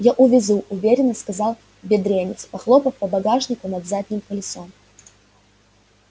я увезу уверенно сказал бедренец похлопав по багажнику над задним колесом